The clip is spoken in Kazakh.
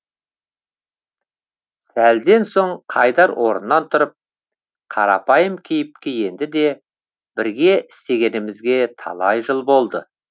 сәлден соң қайдар орнынан тұрып қарапайым кейіпке енді де бірге істегенімізге талай жыл болды